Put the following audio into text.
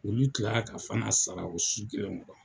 Olu tilala ka Fana sara o su kelen kɔnɔ.